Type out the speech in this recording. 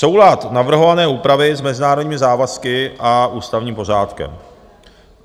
Soulad navrhované úpravy s mezinárodními závazky a ústavním pořádkem.